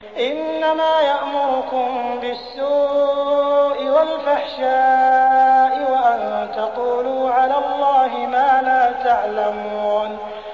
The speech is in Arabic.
إِنَّمَا يَأْمُرُكُم بِالسُّوءِ وَالْفَحْشَاءِ وَأَن تَقُولُوا عَلَى اللَّهِ مَا لَا تَعْلَمُونَ